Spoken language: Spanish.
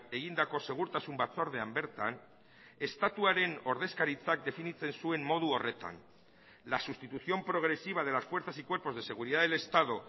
egindako segurtasun batzordean bertan estatuaren ordezkaritzak definitzen zuen modu horretan la sustitución progresiva de las fuerzas y cuerpos de seguridad del estado